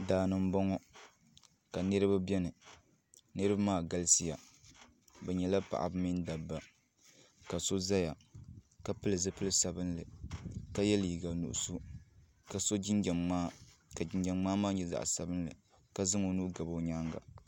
Daani n bɔŋɔ ka niriba bɛni niriba maa galisi ya bi nyɛla paɣaba mini dabba ka so zaya ka pili zupili sabinli ka ye liiga nuɣiso ka so jinjam mŋaa ka jinjam mŋaa maa nyɛ zaɣi sabinli ka zaŋ o nuu gabi o yɛanga.